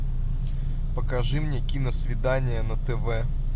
покажи мне киносвидание на тв